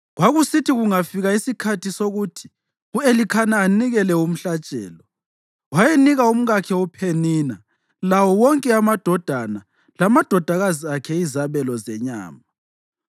Kwakusithi kungafika isikhathi sokuthi u-Elikhana anikele umhlatshelo, wayenika umkakhe uPhenina lawo wonke amadodana lamadodakazi akhe izabelo zenyama.